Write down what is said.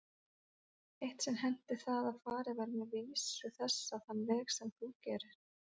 Eitt sinn henti það að farið var með vísu þessa þann veg sem þú gerðir.